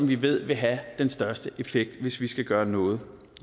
vi ved vil have den største effekt hvis vi skal gøre noget